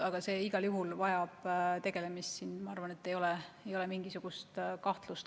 Aga igal juhul tuleb sellega tegeleda, siin, ma arvan, ei ole kellelgi mingisugust kahtlust.